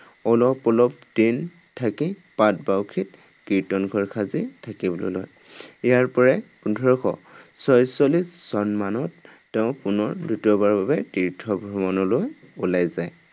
অলপ অলপ দিন থাকি পাটবাউসীত কীৰ্তন ঘৰ সাজি থাকিবলৈ লয়। ইয়াৰ পৰাই পোন্দৰশ ছয়চল্লিশ চন মানত তেওঁ পুনৰ দ্বিতীয়বাৰৰ বাবে তীৰ্থ ভ্ৰমণলৈ ওলাই যায়।